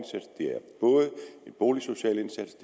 i boligsociale indsats